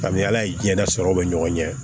Ani ala ye diɲɛ na sɔrɔ bɛ ɲɔgɔn ɲɛ